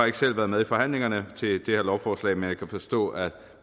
ikke selv været med i forhandlingerne til det her lovforslag men jeg kan forstå at